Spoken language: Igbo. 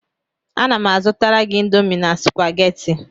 Ana m azụtara gị Indomi na Supagetii